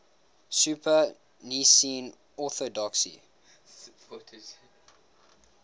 supported nicene orthodoxy